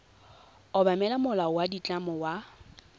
obamela molao wa ditlamo wa